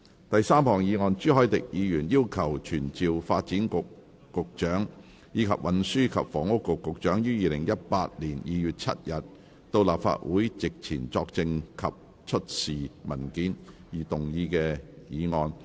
第三項議案：朱凱廸議員要求傳召發展局局長，以及運輸及房屋局局長於2018年2月7日到立法會席前作證及出示文件而動議的議案。